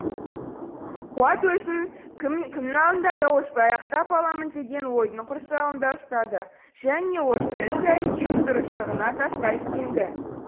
қуат өзін кімнің алдында да осылай ақтап аламын деген ойдың құрсауында ұстады және осы іс әрекетінің дұрыстығына тастай сенді